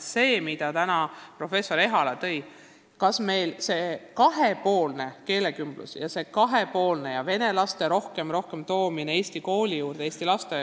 Professor Ehala rääkis kahepoolsest keelekümblusest ja vene laste rohkemast toomisest eesti kooli ja eesti lasteaeda.